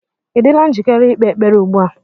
Ị dịla njikere ikpe ekpere ugbu a?